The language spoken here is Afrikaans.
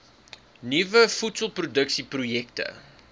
nuwe voedselproduksie projekte